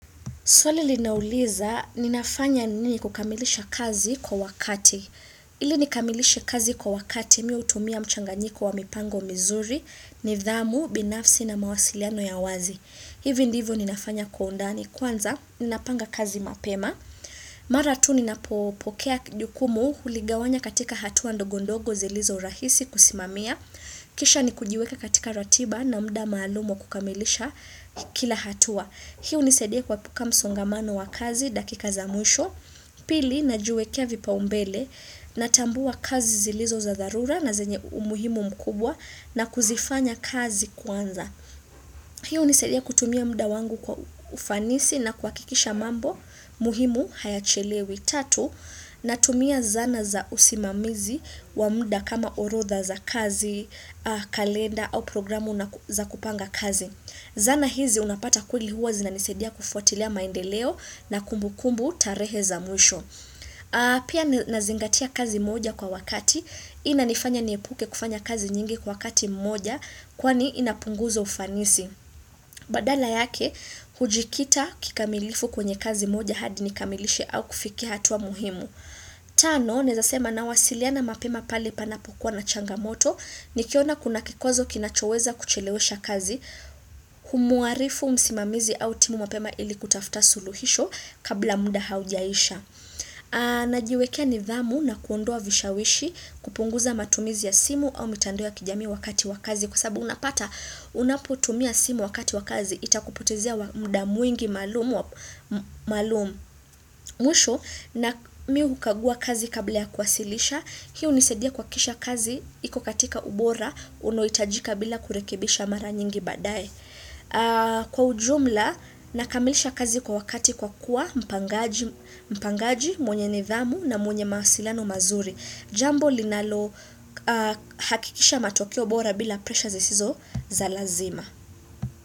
Swali linauliza ninafanya nini kukamilisha kazi kwa wakati ili nikamilishe kazi kwa wakati mimi hutumia mchanganyiko wa mipango mizuri nidhamu binafsi na mawasiliano ya wazi hivi ndivyo ninafanya kwa undani kwanza ninapanga kazi mapema mara tu ninapopokea jukumu huligawanya katika hatua ndogondogo zilizo rahisi kusimamia kisha ni kujiweka katika ratiba na muda maalumu kukamilisha kila hatua hii hunisaidia kuepuka msongamano wa kazi dakika za mwisho pili najiwekea vipaumbele natambua kazi zilizo za dharura na zenye umuhimu mkubwa na kuzifanya kazi kwanza hii hunisaidia kutumia muda wangu kwa ufanisi na kuhakikisha mambo muhimu hayachelewi tatu natumia zana za usimamizi wa muda kama orodha za kazi kalenda au programu za kupanga kazi zana hizi unapata kweli huwa zinanisaidia kufuatilia maendeleo na kumbukumbu tarehe za mwisho pia nazingatia kazi moja kwa wakati hii inanifanya niepuke kufanya kazi nyingi kwa wakati mmoja kwani inapunguza ufanisi badala yake hujikita kikamilifu kwenye kazi moja hadi nikamilishe au kufikia hatua muhimu Tano, naezasema na wasiliana mapema pale panapokuwa na changamoto, ni kiona kuna kikwazo kinachoweza kuchelewesha kazi Humuarifu msimamizi au timu mapema ili kutafuta suluhisho kabla muda haujaisha najiwekea nidhamu na kuondoa vishawishi kupunguza matumizi ya simu au mitandao ya kijami wakati wakazi Kwasabu unapata unaputumia simu wakati wakazi itakupotezea mda mwingi malumu Mwisho na mimi hukagua kazi kabla ya kuwasilisha Hii hunisaidia kuhakikisha kazi, iko katika ubora, unohitajika bila kurekebisha mara nyingi baadae. Kwa ujumla, nakamilisha kazi kwa wakati kwa kuwa mpangaji, mpangaji, mwenye nidhamu na mwenye mawasiliano mazuri. Jambo linalo hakikisha matokeo bora bila pressure zisizo za lazima.